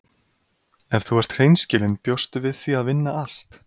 Ef þú ert hreinskilin bjóstu við því að vinna allt?